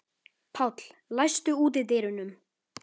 Páll, læstu útidyrunum.